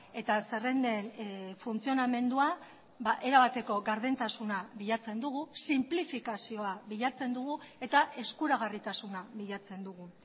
eta zerrenden funtzionamendua erabateko gardentasuna bilatzen dugu sinplifikazioa bilatzen dugu eta eskuragarritasuna bilatzen dugu